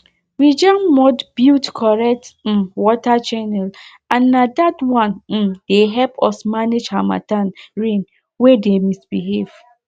we jam mud build correct um water channel and na that one um dey help us manage harmattan rain wey dey misbehave